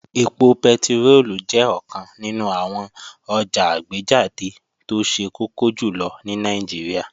Ẹpo pẹtiróòlù jẹ́ ọ̀kan nínú àwọn ọjà àgbéjáde tó ṣe kókó jùlọ ní Nàìjíríà